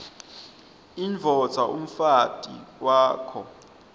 indvodza umfati wakho